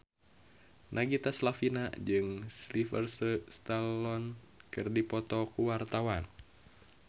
Nagita Slavina jeung Sylvester Stallone keur dipoto ku wartawan